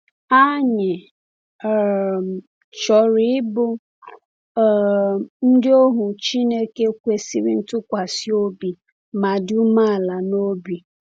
Anyị um chọrọ ịbụ um ndị ohu Chineke kwesịrị ntụkwasị obi ma dị umeala n’obi.